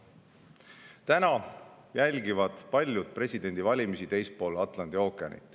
Täna jälgivad paljud presidendivalimisi teisel pool Atlandi ookeani.